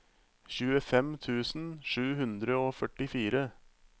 tjuefem tusen sju hundre og førtifire